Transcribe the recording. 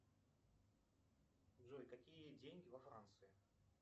джой какие деньги во франции